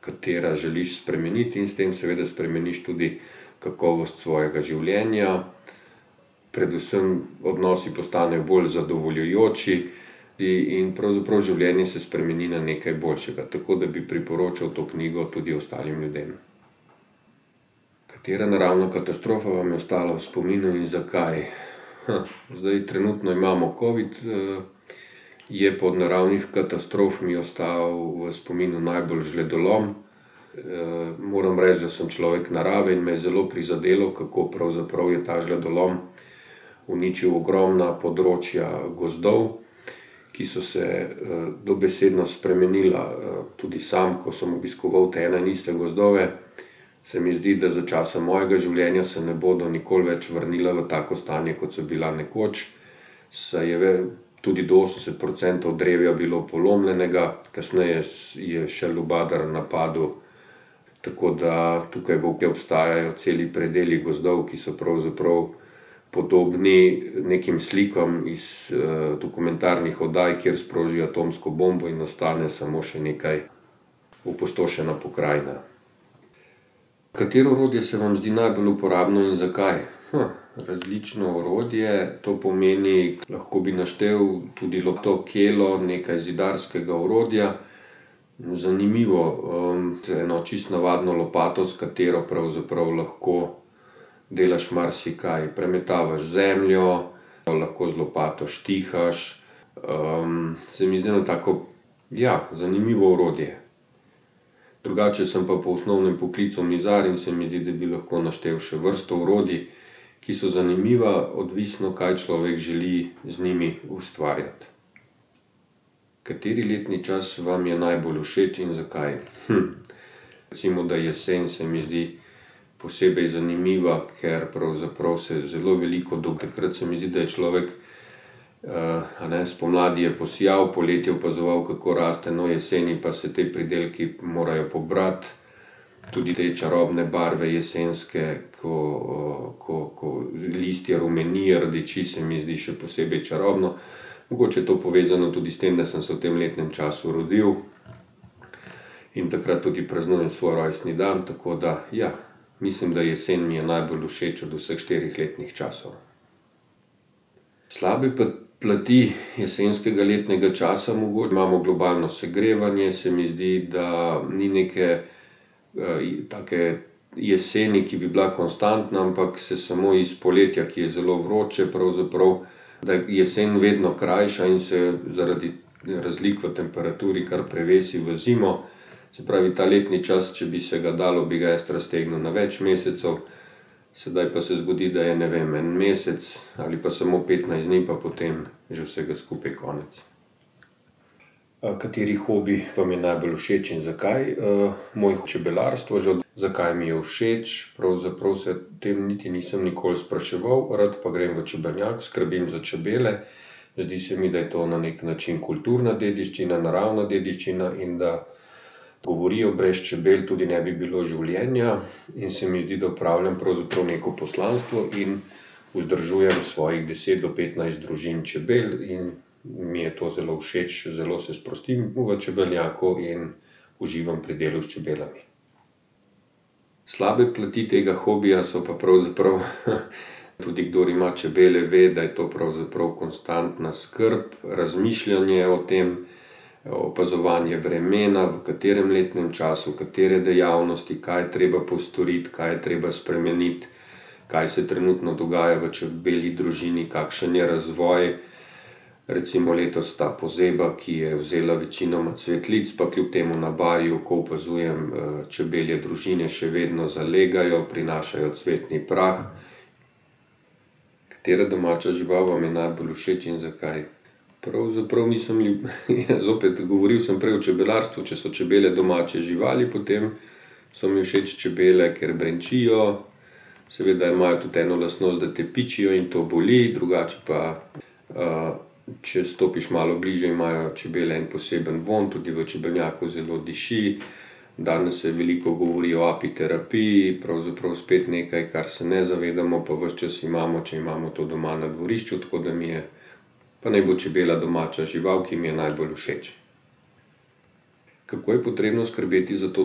katera želiš spremeniti in s tem seveda spremeniš tudi kakovost svojega življenja, predvsem odnosi postanejo bolj zadovoljujoči in pravzaprav življenje se spremeni na nekaj boljšega, tako da bi priporočal to knjigo tudi ostalim ljudem. Katera naravna katastrofa vam je ostala v spominu in zakaj? zdaj trenutno imamo covid, Je pa od naravnih katastrof mi je ostal v spominu najbolj žledolom. moram reči, da sem človek narave in me je zelo prizadelo, kako pravzaprav je ta žledolom uničil ogromna področja gozdov, ki so se, dobesedno spremenila, tudi sam, ko sem obiskoval te ene in iste gozdove, se mi zdi, da za časa mojega življenja se ne bodo nikoli več vrnila v tako stanje, kot so bila nekoč. Saj je tudi do osemdeset procentov drevja bilo polomljenega, kasneje je še lubadar napadal, tako da tukaj obstajajo celi predeli gozdov, ki so pravzaprav podobni nekim slikam iz, dokumentarnih oddaj, kjer sprožijo atomsko bombo in ostane samo še neka opustošena pokrajina. Katero orodje se vam zdi najbolj uporabno iz zakaj? različno orodje, to pomeni, lahko bi naštel tudi kelo, nekaj zidarskega orodja. Zanimivo, z eno čisto navadno lopato, s katero pravzaprav lahko delaš marsikaj, premetavaš zemljo, pol lahko z lopato štihaš, se mi zdi, da tako, ja, zanimivo orodje. Drugače sem pa po osnovnem poklicu mizar in se mi zdi, da bi lahko naštel še vrsto orodij, ki so zanimiva, odvisno, kaj človek želi z njimi ustvarjati. Kateri letni čas vam je najbolj všeč in zakaj? recimo da jesen se mi zdi posebej zanimiva, ker pravzaprav se zelo veliko, do takrat se mi zdi, da je človek, a ne, spomladi je posejal, poleti opazoval, kako raste, no, jeseni pa se ti pridelki morejo pobrati. Tudi te čarobne barve jesenske, ko, ko, listje rumeni, rdeči se mi zdi še posebej čarobno. Mogoče je to povezano tudi s tem, da sem se v tem letnem času rodil in takrat tudi praznujem svoj rojstni dan, tako da ja. Mislim, da jesen mi je najbolj všeč od vseh štirih letnih časov. Slabe plati jesenskega letnega časa imamo globalno segrevanje, se mi zdi, da ni neke, take jeseni, ki bi bila konstantna, ampak se samo iz poletja, ki je zelo vroče pravzaprav, da je jesen vedno krajša in se zaradi razlik v temperaturi kar prevesi v zimo. Se pravi, ta letni čas, če bi se ga dalo, bi jaz raztegnil na več mesecev, sedaj pa se zgodi, da je, ne vem, en mesec ali pa samo petnajst dni pa potem že vsega skupaj konec. kateri hobi vam je najbolj všeč in zakaj? moj čebelarstvo, že ... zakaj mi je všeč? Pravzaprav se tem niti nisem nikoli spraševal. Rad pa grem v čebelnjak, skrbim za čebele, zdi se mi, da je to na neki način kulturna dediščina, naravna dediščina in da govorijo, brez čebel tudi ne bi bilo življenja. In se mi zdi, da opravljam pravzaprav neko poslanstvo in vzdržujem svojih deset do petnajst družin čebel in mi je to zelo všeč, zelo se sprostim v čebelnjaku in uživam pri delu s čebelami. Slabe plati tega hobija so pa pravzaprav tudi, kdor ima čebele, ve, da je to pravzaprav konstantna skrb, razmišljanje o tem, opazovanje vremena, v katerem letnem času, katere dejavnosti, kaj je treba postoriti, kaj je treba spremeniti, kaj se trenutno dogaja v čebelji družini, kakšen je razvoj. Recimo letos ta pozeba, ki je vzela večinoma cvetlic, pa kljub temu na Barju, ko opazujem, čebelje družine, še vedno zalegajo, prinašajo cvetni prah. Katera domača žival vam je najbolj všeč in zakaj? Pravzaprav, nisem zopet govoril sem prej o čebelarstvu, če so čebele domače živali, potem so mi všeč čebele, ker brenčijo, seveda imajo tudi eno lastnost, da te pičijo in to boli, drugače pa, če stopiš malo bližje, imajo čebele en poseben vonj, tudi v čebelnjaku zelo diši. Danes se veliko govori o apiterapiji, pravzaprav spet nekaj, kar se ne zavedamo, pa ves čas imamo, če imamo to doma na dvorišču, tako da mi je pa naj bo čebela domača žival, ki mi je najbolj všeč. Kako je potrebno skrbeti za to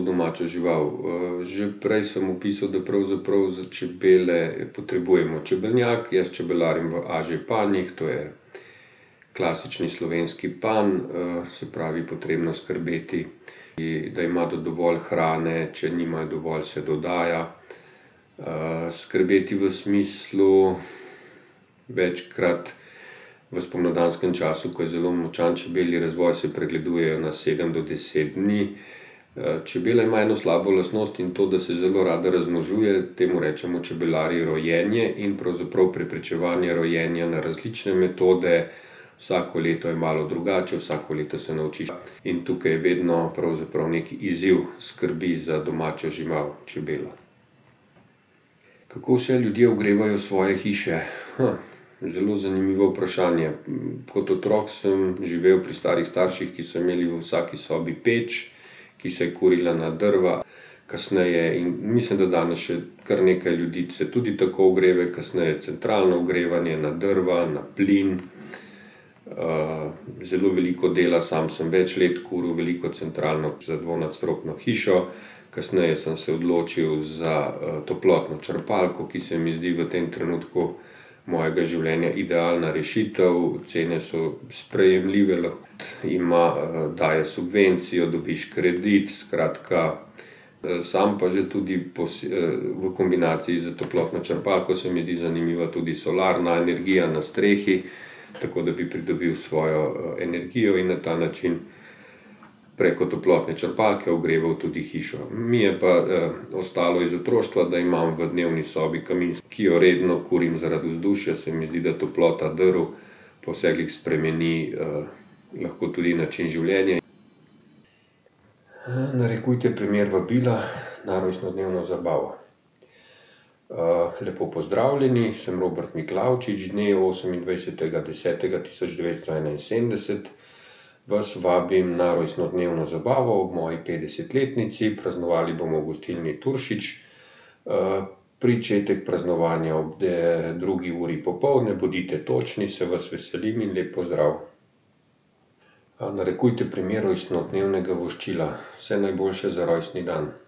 domačo žival. že prej sem opisal, da pravzaprav za čebele je potrebujemo čebelnjak, jaz čebelarim v AŽ-panjih, to je klasični slovenski panj. se pravi potrebno skrbeti, da imajo dovolj hrane, če nimajo dovolj, se dodaja, skrbeti v smislu večkrat v spomladanskem času, ko je zelo močan čebelji razvoj, se pregledujejo na sedem do deset dni. čebele imajo eno slabo lastnost in to, da se zelo rade razmnožujejo, temu rečemo čebelarji rojenje in pravzaprav preprečevanje rojenja na različne metode vsako leto je malo drugače, vsako leto se naučiš, in tukaj je vedno pravzaprav neki izziv skrbi za domačo žival, čebelo. Kako vse ljudje ogrevajo svoje hiše? zelo zanimivo vprašanje, kot otrok sem živel pri starih starših, ki so imeli v vsaki sobi peč, ki se je kurila na drva. Kasneje, in mislim, da danes še kar nekaj ljudi se tudi tako ogreva, kasneje centralno ogrevanje, na drva, na plin. zelo veliko dela, sam samo več let kuril, veliko centralno za dvonadstropno hišo, kasneje sem se odločil za, toplotno črpalko, ki se mi zdi v tem trenutku mojega življenja idealna rešitev, cene so sprejemljive, ima, daje subvencijo, dobiš kredit, skratka, sam pa že tudi v kombinaciji s toplotno črpalko se mi zdi zanimiva tudi solarna energija na strehi. Tako da bi pridobil svojo energijo in na ta način preko toplotne črpalke ogreval tudi hišo. Mi je pa ostalo, iz otroštva, da imam v dnevni sobi kamin, ki jo redno kurim zaradi vzdušja, se mi zdi, da toplota drv pa vse glih spremeni, lahko tudi način življenja ... narekujte primer vabila na rojstnodnevno zabavo. lepo pozdravljeni, sem [ime in priimek], dne osemindvajsetega desetega tisoč devetsto enainsedemdeset vas vabim na rojstnodnevno zabavo ob moji petdesetletnici, praznovali bomo v gostilni Turšič, pričetek praznovanja ob, drugi uri popoldne, bodite točni, se vas veselim in lep pozdrav. narekujte primer rojstnodnevnega voščila. Vse najboljše za rojstni dan.